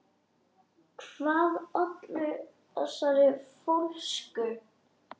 Hvað olli þessari fólsku?